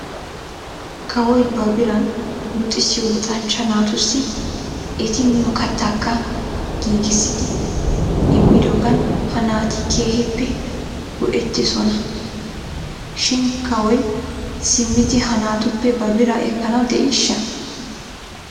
Kawoy ba biran luxissiyoo luxanchcha naatussi eti miyoo kattaakka giigissidi immidoogan he naati keehippe go'etiisona shin kawoy simmidi he naatuppe ba biraa ekkanaw de'iishsha?